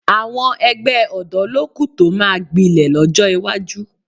Àwọn ẹgbẹ́ ọ̀dọ́ ló kù tó máa gbilẹ̀ lọ́jọ́ iwájú